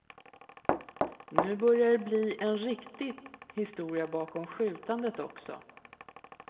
Nu börjar det bli en riktig historia bakom skjutandet också.